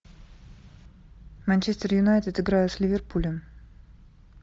манчестер юнайтед играет с ливерпулем